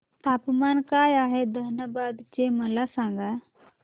तापमान काय आहे धनबाद चे मला सांगा